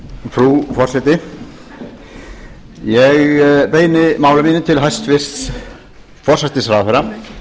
frú forseti ég beini máli mínu til hæstvirts forsætisráðherra en hinn